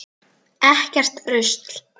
Ekkert rusl.